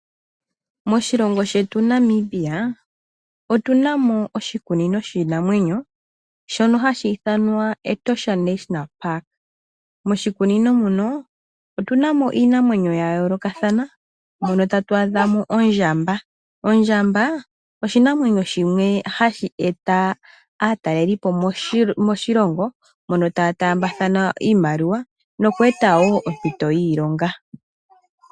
Moshilongo shetu Namibia otuna mo oshikunino shiinamwenyo shono hashi ithanwa Etosha national park. Moshikunino muno otuna mo iinamwenyo ya yoolokathana mono tatu adhamo ondjamba. Ondjamba oshinanwenyo shimwe hashi eta aatalelipo moshilongo mono taya taambathana iimaliwa noku eta ompito yiilonga.